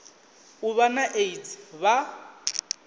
u vha na aids vha